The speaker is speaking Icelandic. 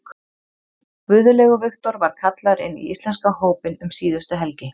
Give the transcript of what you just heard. Guðlaugur Victor var kallaður inn í íslenska hópinn um síðustu helgi.